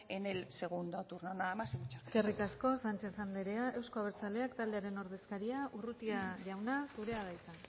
en el segundo turno nada más y muchas gracias eskerrik asko sánchez andrea euzko abertzaleak taldearen ordezkaria urrutia jauna zure da hitza